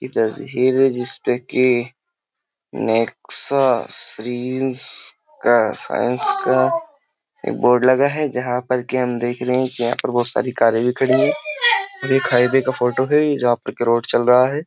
इधर हीर जिसपे की नेक्सा श्रींस का साइंस का एक बोर्ड लगा है जहां पर की हम देख रहे हैं कि यहां पर बहुत सारी कारें भी खड़ी है एक हाईवे का फोटो है जहां पर की रोड चल रहा है।